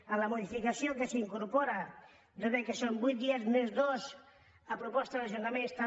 a la modificació que s’hi incorpora són vuit dies més dos a proposta dels ajuntaments també